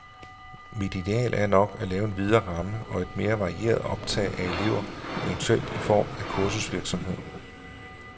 Mit ideal er nok at lave en videre ramme og et mere varieret optag af elever, eventuelt i form af kursusvirksomhed.